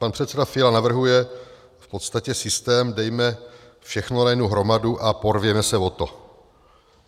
Pan předseda Fiala navrhuje v podstatě systém: dejme všechno na jednu hromadu a porvěme se o to.